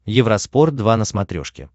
евроспорт два на смотрешке